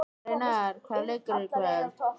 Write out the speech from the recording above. Reynar, hvaða leikir eru í kvöld?